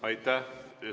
Aitäh!